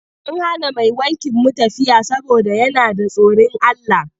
Mun hana mai wankin mu tafiya saboda yana da tsorin Allah.